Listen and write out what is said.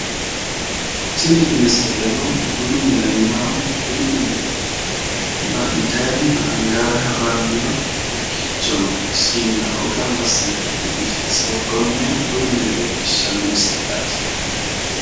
Tin misileno bunu minena intayirena angayire hiraniwa hakiichono siinao gamba asine kane biiffinse woronha leelishano bunu min misileti